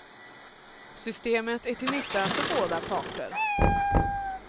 Systemet är till nytta för båda parter.